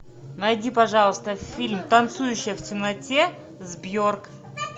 найди пожалуйста фильм танцующая в темноте с бьорк